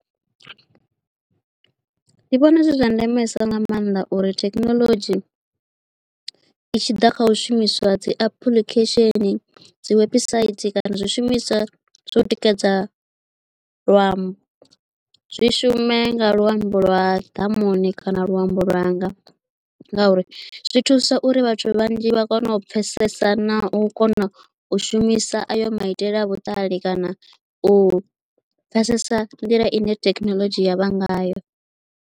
Ndi vhona zwi zwa ndemesa nga maanḓa uri thekinoḽodzhi i tshi ḓa kha u shumiswa dzi application dzi website kana zwishumiswa zwa u tikedza luambo zwi shume nga luambo lwa ḓamuni kana luambo lwanga ngauri zwi thusa uri vhathu vhanzhi vha kone u pfesesa na u kona u shumisa ayo maitele a vhuṱali kana u pfesesa nḓila ine thekhinoḽodzhi ya vha ngayo.